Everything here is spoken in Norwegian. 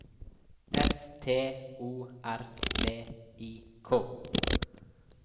S T O R V I K